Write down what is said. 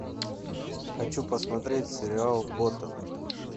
хочу посмотреть сериал готэм